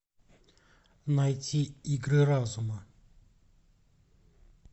найти игры разума